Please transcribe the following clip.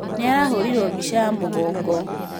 Nĩ arahũrirwa bica ya mũgongo.